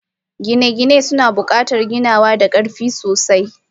Gine-gine suna buƙatar ginawa da ƙarfi sosai.